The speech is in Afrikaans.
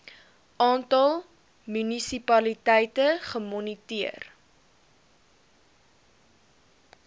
aantal munisipaliteite gemoniteer